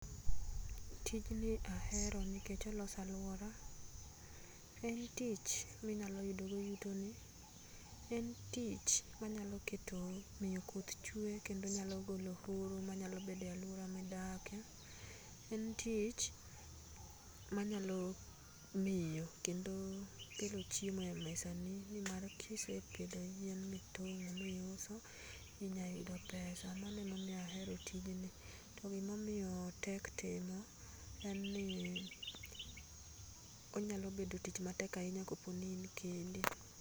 Tijni ahero nikech oloso aluora, en tich ninyalo yudogo yutoni, en tich manyalo miyo kato miyo koth chwe kendo nyalo goo oro manyalo bedo e aluora midake, en tich manyalo miyo kendo keto chiemo e mesani nimar kisepidho yien mitongo miuso inyalo yudo pesa mano emoniyo ahero tijni to gi momiyo otek timo en ni onyalo bet tich matek ahinya kopo ni in kendi.